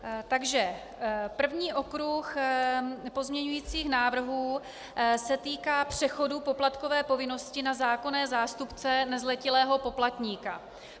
Takže první okruh pozměňovacích návrhů se týká přechodu poplatkové povinnosti na zákonné zástupce nezletilého poplatníka.